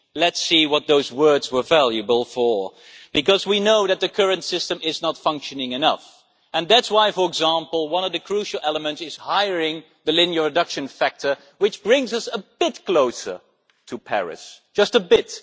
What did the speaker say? Let us see what those words were worth, because we know that the current system is not functioning well enough and that is why, for example, one of the crucial elements is raising the linear reduction factor, which brings us a bit closer to Paris, just a bit.